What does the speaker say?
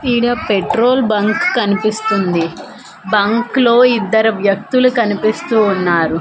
ఈడ petrol bunk కనిపిస్తుంది bunk లో ఇద్దర వ్యక్తులు కనిపిస్తూ ఉన్నారు.